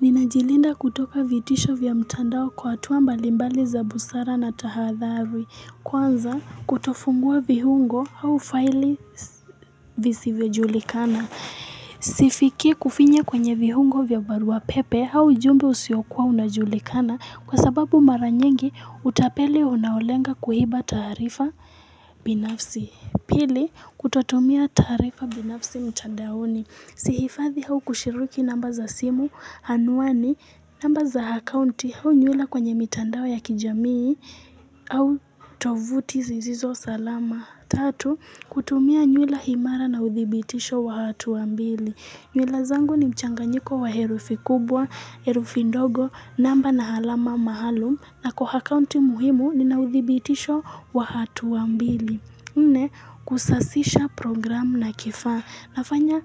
Ninajilinda kutoka vitisho vya mtandao kwa hatua mbalimbali za busara na tahadhari. Kwanza kutofungua vihungo hau faili visivejulikana. Sifiki kufinye kwenye vihungo vya varua pepe hau jumbo usiokua unajulikana kwa sababu maranyengi utapeli unaolenga kuhiba tarifa binafsi. Pili kutotumia tarifa binafsi mtandaoni. Si hifadhi hau kushiriki namba za simu, hanuani, namba za hakaunti hau nyuila kwenye mitandao ya kijamii au tovuti zizizo salama. Tatu, kutumia nyuila himara na uthibitisho wa hatu wa mbili. Nyuila zangu ni mchanganyiko wa herufi kubwa, herufi ndogo, namba na halama mahalum na kwa hakaunti muhimu ni na uthibitisho wa hatu wa mbili. Nne, kusasisha programu na kifaa. Nafanya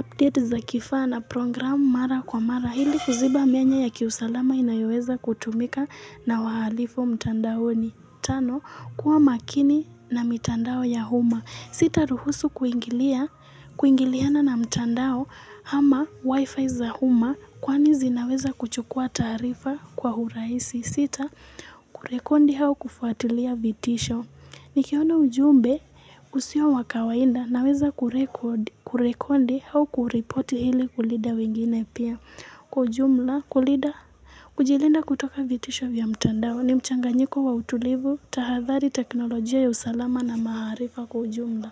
update za kifaa na programu mara kwa mara. Hili kuziba mianya ya kiusalama inayoweza kutumika na waalifu mtandao ni tano kuwa makini na mitandao ya huma. Sita ruhusu kuingilia, kuingiliana na mtandao ama wifi za huma kwani zinaweza kuchukua tarifa kwa huraisi. Sita, kurekondi hao kufuatilia vitisho. Nikiona ujumbe usio wakawainda naweza kurekondi hau kureport hili kulida wengine pia kwa ujumla kulida kujilinda kutoka vitisho vya mtandao ni mchanganyiko wa utulivu tahadhali teknolojia ya usalama na maharifa kwa ujumla.